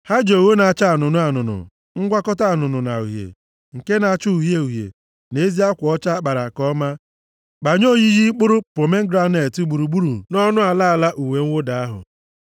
Ha ji ogho na-acha anụnụ anụnụ, ngwakọta anụnụ na uhie, nke na-acha uhie uhie na ezi akwa ọcha a kpara nke ọma kpanye oyiyi mkpụrụ pomegranet, gburugburu nʼọnụ ala ala uwe mwụda ahụ.